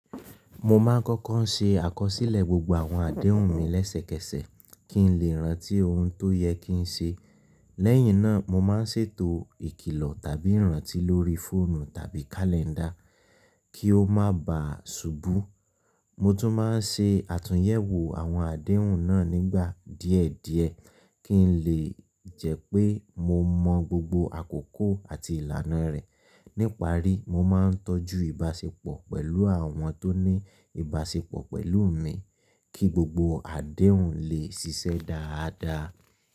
Mo máa ń kọ́kọ́ ṣe àkọsílẹ̀ gbogbo àwọn adéhùn mi lẹ́sẹ̀kẹsẹ̀ kí n lè rántí ohun tó yẹ kí n ṣe. Lẹ́yìn náà, mo máa ń ṣètò ìkìlọ̀ tàbí ìrántí lórí fóònù tàbí kálẹ́ńdà kí ó máa ba à ṣubú. Mo tún máa ń ṣe àtúnyẹ̀wò àwọn adéhùn náà nígbà díẹ̀ díẹ̀ kí n lè jẹ́ pé mo mọ gbogbo àkókò àti ìlànà rẹ̀. Níparí, mo máa ń tọ́jú ìbáṣepọ̀ pẹ̀lú àwọn tó ní ìbáṣepọ̀ pẹ̀lú mi kí gbogbo adéhùn lè ṣiṣẹ́ dáadáa.